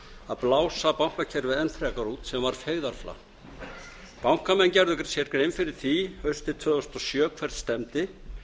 að blása bankakerfið enn frekar út sem var feigðarflan bankamenn gerðu sér grein fyrir því haustið tvö þúsund og sjö hvert stefndi